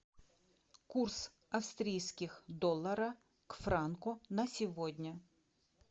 курс австрийских доллара к франку на сегодня